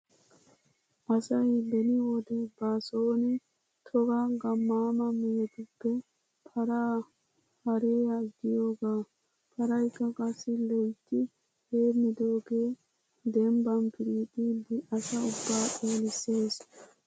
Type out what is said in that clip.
Asay beni wode ba sooni toga gammaama mehetuppe paraa haarees giyogaa. Paraykka qassi loytti heemmidoogee dembban piriixiiddi asa ubbaa xeelissees.